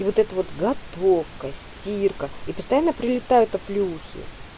вот это вот готовка стирка и постоянно прилетают оплеухи